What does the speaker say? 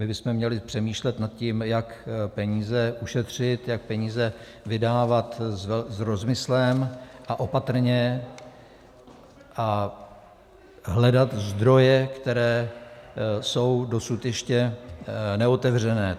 My bychom měli přemýšlet nad tím, jak peníze ušetřit, jak peníze vydávat s rozmyslem a opatrně, a hledat zdroje, které jsou dosud ještě neotevřené.